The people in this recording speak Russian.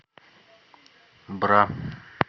бра